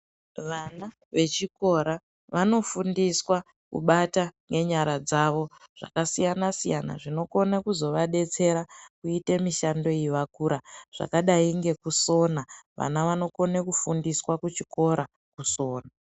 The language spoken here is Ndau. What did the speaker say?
Vana vechikora vanofundiswa kubata ngenyara dzavo zvakasiyana siyana zvinokone kuzovadetsera kuite mishando iyi vakura zvakadayi ngekusona vana vanokone kufundiswa kuchikora kusona.